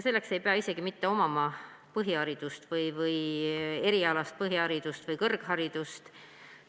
Selleks ei pea isegi mitte omama erialast põhiharidust või kõrgharidust.